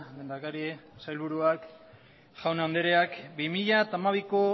lehendakari sailburuak jaun andreok bi mila hamabiko